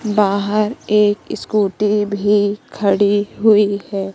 बाहर एक स्कूटी भी खड़ी हुई है।